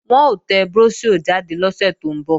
Wọn ó tẹ bróṣíọ̀ jáde lọ́sẹ̀ tó ń bọ̀